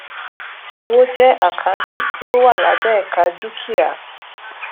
owó jẹ àkáǹtì tí ó wà lábẹ ẹka dúkìá